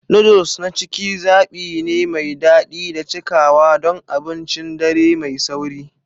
Noodles na cikin ciki zaɓi ne mai daɗi da cikawa don abincin dare mai sauri.